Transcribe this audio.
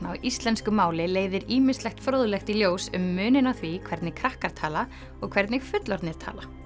á íslensku máli leiðir ýmislegt fróðlegt í ljós um muninn á því hvernig krakkar tala og hvernig fullorðnir tala